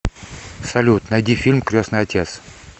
салют найди фильм кресный отец